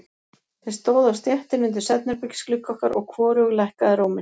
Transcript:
Þeir stóðu á stéttinni undir svefnherbergisglugga okkar, og hvorugur lækkaði róminn.